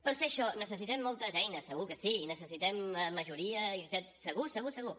per fer això necessitem moltes eines segur que sí i necessitem majoria i etcètera segur segur segur